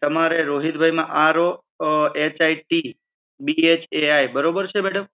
તમારા રોહિતભાઈ માં R O H I T B H A I બરોબર છે madam?